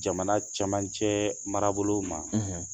Jamana cɛmancɛ marabolo ma